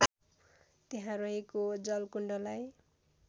त्यहाँ रहेको जलकुण्डलाई